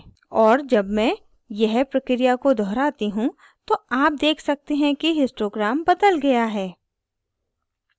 और जब मैं यह प्रक्रिया को दोहराती हूँ तो आप देख सकते हैं कि histogram बदल गया है